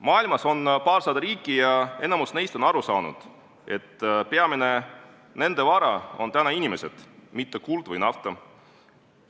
Maailmas on paarsada riiki ja enamik neist on aru saanud, et nende peamine vara on inimesed, mitte kuld või nafta.